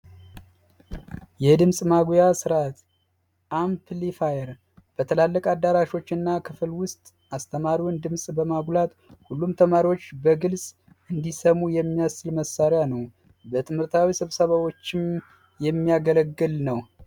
የድምፅ ማጉያ ስርዓት አምፕሊፋየር በትላልቅ አዳራሾች እና ክፍል ውስጥ የአስተማሪውን ድምፅ በማጉላት ሁሉም ተማሪዎች እንዲሰሙ የሚያስችል መሳሪያ ነው። ለትምህርታዊ ስብሰባዎችም የሚያገለግል ነው።